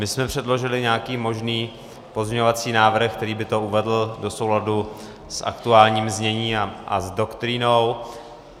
My jsme předložili nějaký možný pozměňovací návrh, který by to uvedl do souladu s aktuálním zněním a s doktrínou.